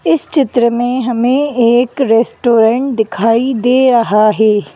इस चित्र में हमें एक रेस्टोरेंट दिखाई दे रहा है।